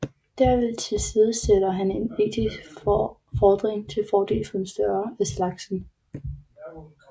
Derved tilsidesætter han en etisk fordring til fordel for en større af slagsen